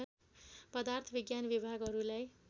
पदार्थ विज्ञान विभागहरूलाई